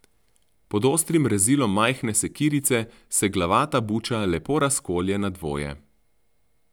Pod ostrim rezilom majhne sekirice se glavata buča lepo razkolje na dvoje.